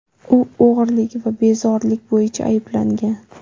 U o‘g‘rilik va bezorilik bo‘yicha ayblangan.